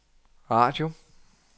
radio